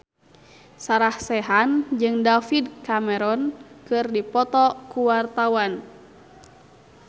Sarah Sechan jeung David Cameron keur dipoto ku wartawan